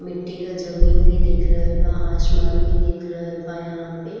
मिट्टी का ज़मीन भी दिख रहल बा आसमान भी दिख रहल बा यहां पे।